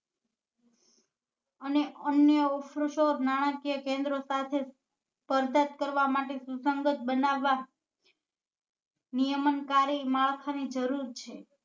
અને અન્ય નાણાકીય કેન્દ્રો સાથે સ્પરધકત કરવા માટે સુસંગત બનાવવા નિયમન કાર્ય માળખા ની જરૂર છે